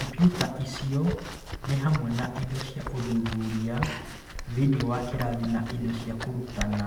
Kompiuta icio nĩ hamwe na indo cia ũthuthuria thĩinĩ wa kĩrathi na indo cia kũrutana.